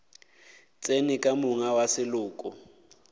tsene ka monga wa seloko